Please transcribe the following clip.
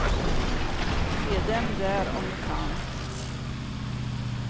Se dem där om ni kan.